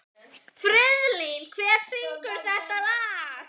Friðlín, hver syngur þetta lag?